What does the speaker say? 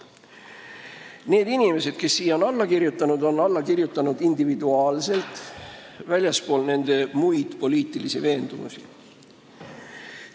Need inimesed, kes on siia alla kirjutanud, on seda teinud individuaalselt, väljaspool nende muid poliitilisi veendumusi.